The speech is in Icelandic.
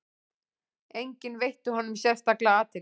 Enginn veitti honum sérstaka athygli.